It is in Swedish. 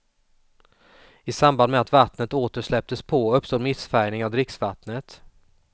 I samband med att vattnet åter släpptes på uppstod missfärgning av dricksvattnet.